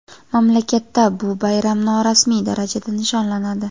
Mamlakatda bu bayram norasmiy darajada nishonlanadi.